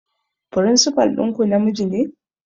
Firinsifal ɗinku namiji ne?